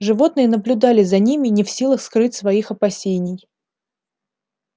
животные наблюдали за ними не в силах скрыть своих опасений